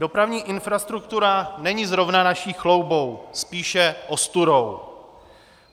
Dopravní infrastruktura není zrovna naší chloubou, spíše ostudou.